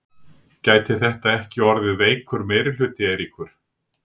Gæti þetta ekki orðið veikur meirihluti, Eiríkur?